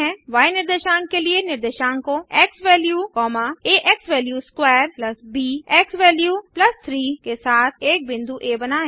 य निर्देशांक के लिए निर्देशांकों एक्सवैल्यू आ xValue2 ब एक्सवैल्यू 3 के साथ एक बिंदु आ बनाएँ